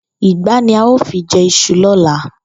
Ìgbá ni a óò fi je̩ is̩u ló̩la